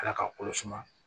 Ala k'a kolo suma